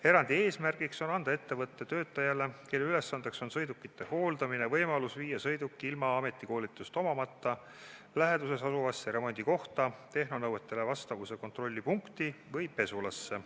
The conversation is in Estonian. Erandi eesmärk on anda ettevõtte töötajale, kelle ülesanne on sõidukite hooldamine, võimalus viia sõiduk ilma ametikoolitust omamata läheduses asuvasse remondikohta, tehnonõuetele vastavuse kontrolli punkti või pesulasse.